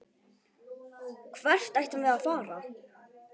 Hvert ættum við að fara?